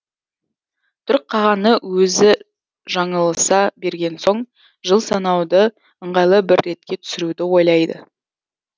түрік қағаны өзі жаңылыса берген соң жыл санауды ыңғайлы бір ретке түсіруді ойлайды